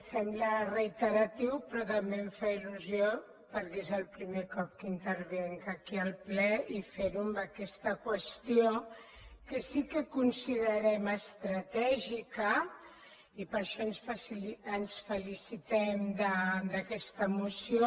sembla reiteratiu però també em fa il·lusió perquè és el primer cop que intervinc aquí al ple i fer ho amb aquesta qüestió que sí que considerem estratègica i per això ens felicitem d’aquesta moció